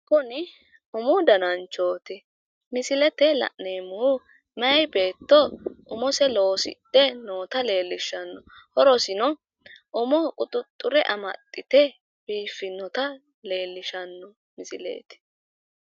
Kuni umu dananchooti misilete la'neemomhu mayii beetto umose loosidhe noota leellishshano horosino umo quxuxxure amaxxite biiffinota leellishshanno misileeti